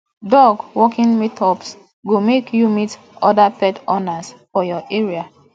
dog walking meetups go make you meet other pet owners for your area